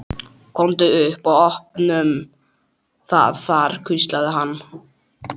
Komum upp og opnum það þar hvíslaði hann.